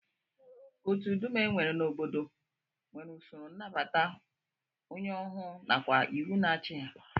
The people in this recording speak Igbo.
Otu dum e nwere n'obodo nwere usoro nnabata onye ọhụụ nakwa iwu na-achị ha